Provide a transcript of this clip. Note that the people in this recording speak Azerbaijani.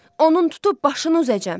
Onun tutub başını uzacam.